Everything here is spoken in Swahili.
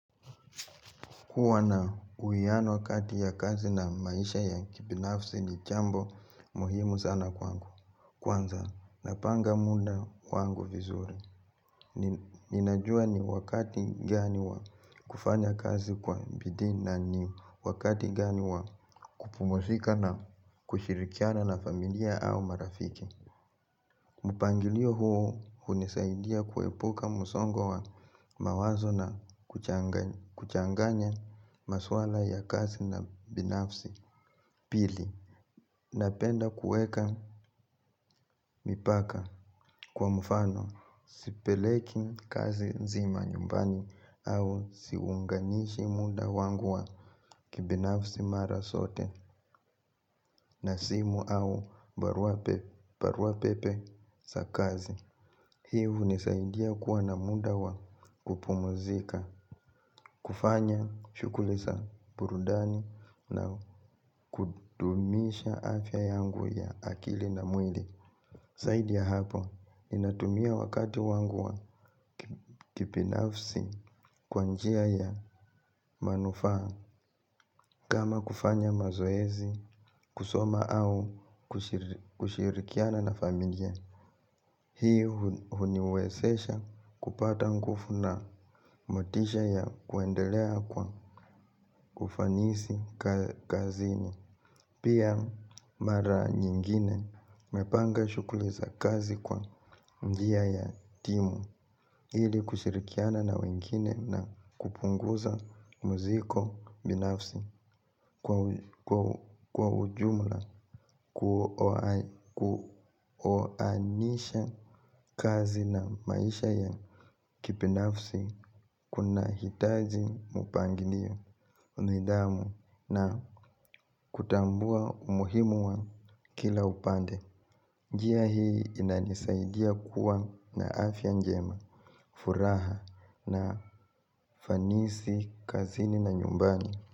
Kuwa na uhiano kati ya kazi na maisha ya kibinafsi ni jambo muhimu sana kwangu. Kwanza, napanga muda wangu vizuri. Ninajua ni wakati gani wa kufanya kazi kwa bidii na ni wakati gani wa kupumzika na kushirikiana na familia au marafiki. Mpangilio huo hunisaidia kuepuka msongo wa mawazo na kuchanganya maswala ya kazi na binafsi pili. Napenda kueka mipaka kwa mfano sipeleki kazi nzima nyumbani au siunganishi muda wangu wa kibinafsi mara zote na simu au baruapepe za kazi. Hii hunisaidia kuwa na muda wa kupumzika, kufanya shughuli za burudani na kudumisha afya yangu ya akili na mwili zaidi ya hapo, inatumia wakati wangu wa kibinafsi kwa njia ya manufaa. Kama kufanya mazoezi, kusoma au kushirikiana na familia. Hii huniwezesha kupata nguvu na motisha ya kuendelea kwa ufanisi kazini. Pia mara nyingine napanga shughuli za kazi kwa njia ya timu ili kushirikiana na wengine na kupunguza mzigo binafsi. Kwa ujumla kuoanisha kazi na maisha ya kibinafsi. Kuna hitaji mpangilio nidhamu na kutambua umuhimu wa kila upande njia hii inanisaidia kuwa na afya njema. Furaha na ufanisi kazini na nyumbani.